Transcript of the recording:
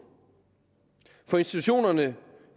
for institutionerne